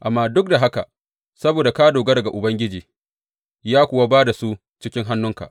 Amma duk da haka, saboda ka dogara ga Ubangiji, ya kuwa ba da su cikin hannunka.